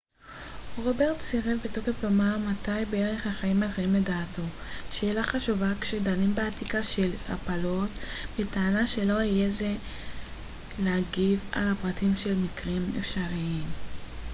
רוברטס סירב בתוקף לומר מת בערך החיים מתחילים לדעתו שאלה חשובה כשדנים באתיקה של הפלות בטענה שלא יהיה זה אתי להגיב על הפרטים של מקרים אפשריים